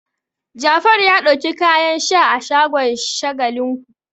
Jafaru ya ɗauki kayan sha a shagon Shagalinku.